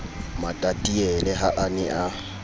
matatiele ha a ne a